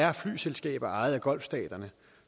er flyselskaber ejet af golfstaterne